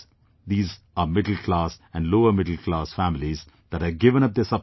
These are middle class and lower middle class families that have given up their subsidy